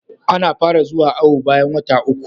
Ana fara zuwa awo bayan wata uku